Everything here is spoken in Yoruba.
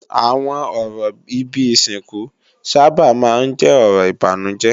Àwọn ọ̀rọ̀ ibi ìsìnkú sábà máa ń jẹ́ ọ̀rọ̀ ìbànújẹ́